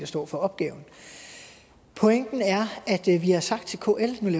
står for opgaven pointen er at vi har sagt til kl